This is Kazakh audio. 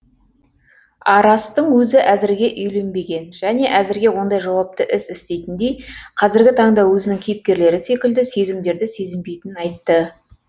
арастың өзі әзірге үйленбеген және әзірге ондай жауапты іс істейтіндей қазіргі таңда өзінің кейіпкерлері секілді сезімдерді сезінбейтінін айтты